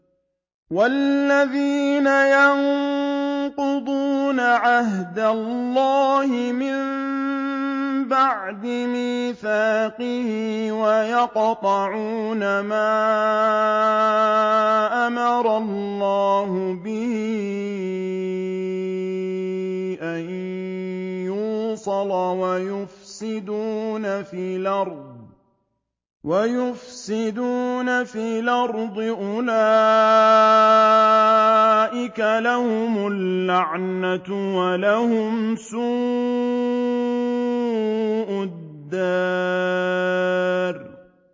وَالَّذِينَ يَنقُضُونَ عَهْدَ اللَّهِ مِن بَعْدِ مِيثَاقِهِ وَيَقْطَعُونَ مَا أَمَرَ اللَّهُ بِهِ أَن يُوصَلَ وَيُفْسِدُونَ فِي الْأَرْضِ ۙ أُولَٰئِكَ لَهُمُ اللَّعْنَةُ وَلَهُمْ سُوءُ الدَّارِ